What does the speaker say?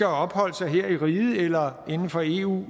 opholdt sig her i riget eller inden for eu